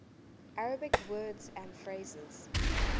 arabic words and phrases